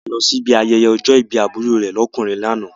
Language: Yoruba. A lọ sí ibi ayẹyẹ ọjọ́ ìbí àbúrò rẹ̀ lọ́kùnrin ní àná.